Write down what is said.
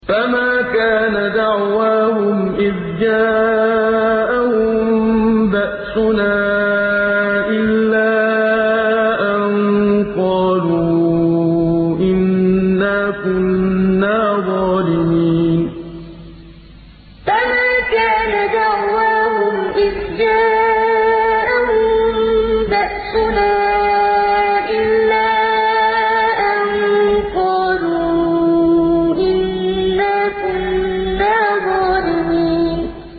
فَمَا كَانَ دَعْوَاهُمْ إِذْ جَاءَهُم بَأْسُنَا إِلَّا أَن قَالُوا إِنَّا كُنَّا ظَالِمِينَ فَمَا كَانَ دَعْوَاهُمْ إِذْ جَاءَهُم بَأْسُنَا إِلَّا أَن قَالُوا إِنَّا كُنَّا ظَالِمِينَ